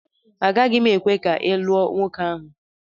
Agaghị m ekwe ka ị lụọ nwoke ahụ!